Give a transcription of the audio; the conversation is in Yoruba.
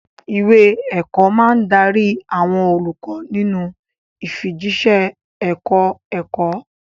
Ìwé ẹ̀kọ́ máa ń darí àwọn olùkọ́ nínú ìfijíṣẹ́ ẹ̀kọ́-ẹ̀kọ́.